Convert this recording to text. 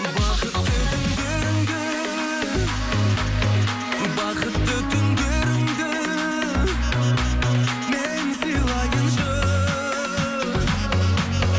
бақытты күндеріңді бақытты түндеріңді мен сыйлайыншы